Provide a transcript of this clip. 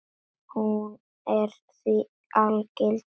Hún er því algild skylda.